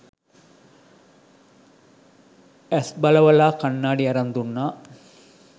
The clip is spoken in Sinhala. ඇස් බලවලා කණ්ණාඩි අරන් දුන්නා